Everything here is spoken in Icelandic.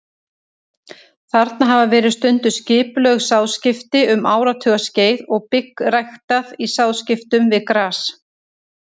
Þarna hafa verið stunduð skipulögð sáðskipti um áratugaskeið og bygg ræktað í sáðskiptum við gras.